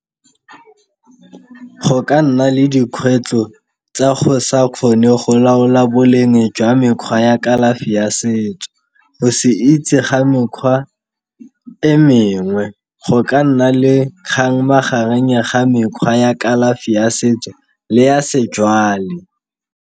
Go ka nna le dikgwetlho tsa go sa kgone go laola boleng jwa mekgwa ya kalafi ya setso, go se itse ga mekgwa e mengwe go ka nna le kgang magareng ga mekgwa ya kalafi ya setso le ya sejwale.